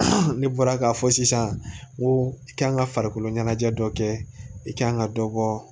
Ne bɔra ka fɔ sisan ko i ka kan ka farikolo ɲɛnajɛ dɔ kɛ i k'an ka dɔ bɔ